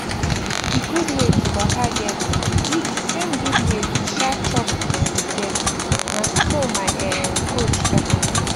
d gud wey to waka get be d same gud wey to um chop gud food get na som my ermm coach talk am